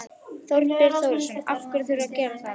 Þorbjörn Þórðarson: Af hverju þurfa þeir að gera það?